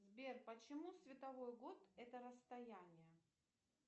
сбер почему световой год это расстояние